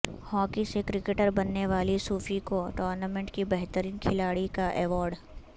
hockey سے cricketer بننے والی سوفی کو ٹورنمنٹ کی بہترین کھلاڑی کا ایوارڈ